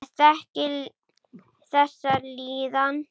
Ég þekki þessa líðan.